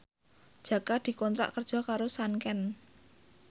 Jaka dikontrak kerja karo Sanken